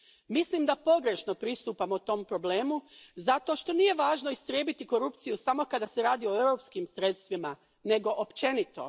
Mislim da pogrešno pristupamo tom problemu zato što nije važno istrijebiti korupciju samo kada se radi o europskim sredstvima, nego općenito.